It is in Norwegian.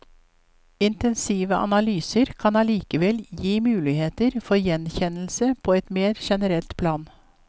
Intensive analyser kan likevel gi muligheter for gjenkjennelse på et mer genenrelt plan.